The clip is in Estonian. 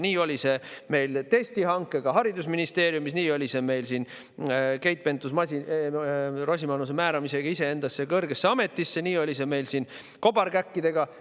Nii oli see meil testihankega haridusministeeriumis, nii oli see meil Keit Pentus-Rosimannusega, kes määras iseend kõrgesse ametisse, nii oli see meil siin kobarkäkkidega.